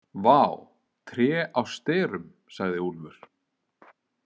Vá, tré á sterum, sagði Úlfur.